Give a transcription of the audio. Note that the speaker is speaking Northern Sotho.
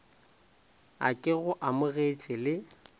a ke go amogetše le